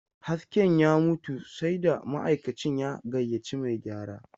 Hasken ya mutu, sai da ma'aikacin ya gayyaci mai gyara.